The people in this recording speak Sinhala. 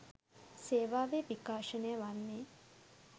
සේවාවේ විකාශනය වෙන්නේ